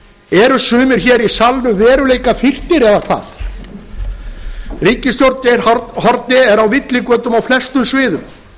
eru sumir hér í salnum veruleikafirrtir eða hvað ríkisstjórn geir haarde er á villigötum á flestum sviðum